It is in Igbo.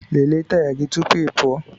Lelee taya gị tupu ị pụọ!